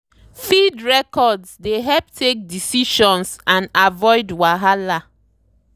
feed records dey help take decisions and avoid wahala.